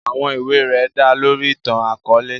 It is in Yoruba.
Àwọn iwe rẹ da lori itan-akọọlẹ.